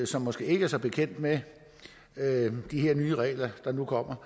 som måske ikke er så bekendt med de her nye regler der nu kommer